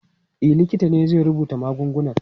E, likita ne zai rubuta magungunan.